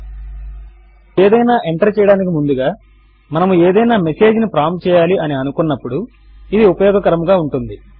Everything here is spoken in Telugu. మనము ఏదైనా ఎంటర్ చేయడానికి ముందుగా మనము ఏదైనా మెసేజ్ ను ప్రాంప్ట్ చేయాలి అని అనుకున్నప్పుడు ఇది ఉపయోగకరముగా ఉంటుంది